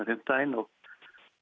fimmtudaginn og